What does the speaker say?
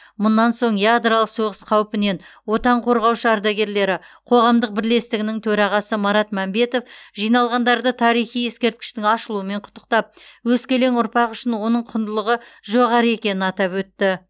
мұнан соң ядролық соғыс қаупінен отан қорғаушы ардагерлері қоғамдық бірлестігінің төрағасы марат мәмбетов жиналғандарды тарихи ескерткіштің ашылуымен құттықтап өскелең ұрпақ үшін оның құндылығы жоғары екенін атап өтті